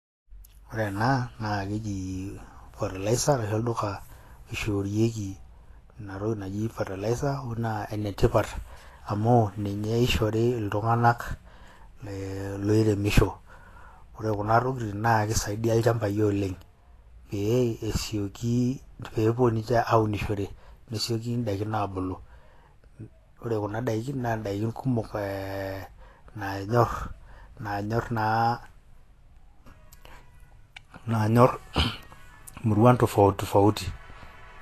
Ore ena na keji fertilizer naati olduka oishoorieki ina toki naji fertilizer naa ene tipat amu ninye ishori iltung'ana loiremisho. Ore kuna tokitin naa kisaidia ilchambai oleng' peyie esioki peepuo ninche aunishorevpee esioki daikin abulu. Ore kuna daikin naa daikin kumok naanyor nanyoor naa, naanyor imuruan tofauti tofauti.